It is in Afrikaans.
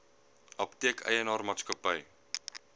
apteek eienaar maatskappy